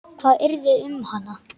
Hvað yrði um hana?